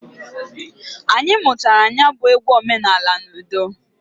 Anyị muchara nya bụ egwu omenanị n'udo.